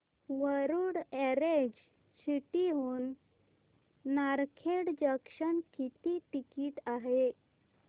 Warud orange city हून Narkhed junction किती ticket आहे